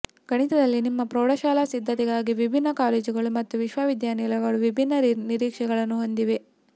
ಗಣಿತದಲ್ಲಿ ನಿಮ್ಮ ಪ್ರೌಢಶಾಲಾ ಸಿದ್ಧತೆಗಾಗಿ ವಿಭಿನ್ನ ಕಾಲೇಜುಗಳು ಮತ್ತು ವಿಶ್ವವಿದ್ಯಾನಿಲಯಗಳು ವಿಭಿನ್ನ ನಿರೀಕ್ಷೆಗಳನ್ನು ಹೊಂದಿವೆ